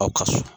Aw ka so